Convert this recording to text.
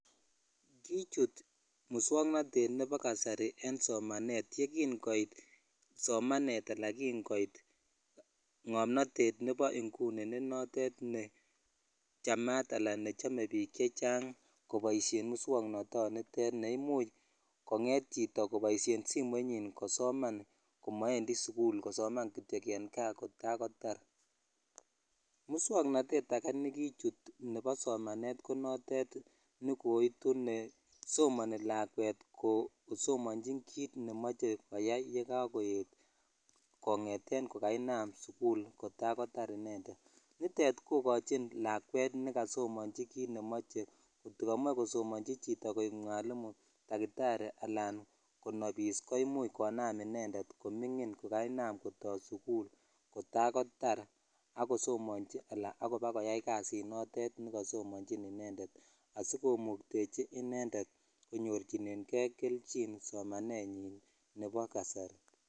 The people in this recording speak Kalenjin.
Kichuut muswongoneet nebo kasari en somaneet yegingoit somaneet alaan kingooit ng'omnoteet nebo nguni ne noteet nechamaat alaan nechome biik chechang' koboishe muswoknotoon niteet neimuch kongeet chito koboishen simoit nyiin kosomaan komoendii suguul kosomaan kityo en gaa kotarkotaar, muswangnateet age negichuut nebo somaneet konoteet negoitu nesomani lakweet kosomonchiin kiiit nemoche koyaai yegagoeet kongeteen kogainaam sugul kotaar kotaar inendet, niteet kogochin lakweet negasomonchin kiit nemoche, kot kamoe kosomonchi chito koek mwalimu takitari anaan konabiis koimuuch konaam inendeet komingin kogainaam kotoo suguul kotaar kotaar ak kosomonchi alaan abakoyaai kasiit noteet negasomonchin inendet asikomuktechi inendeet konyorchinegee kelchin somanenyiin nebo kasari.